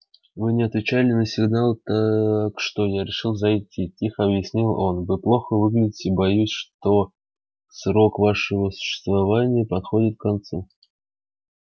вы не отвечали на сигналы так что я решил зайти тихо объяснил он вы плохо выглядите боюсь что срок вашего существования подходит к концу